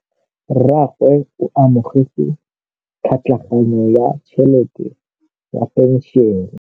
Rragwe o amogetse tlhatlhaganyô ya tšhelête ya phenšene.